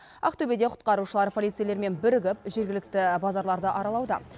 ақтөбеде құтқарушылар полицейлермен бірігіп жергілікті базарларды аралауда